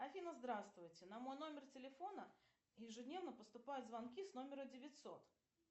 афина здравствуйте на мой номер телефона ежедневно поступают звонки с номера девятьсот